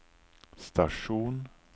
stasjon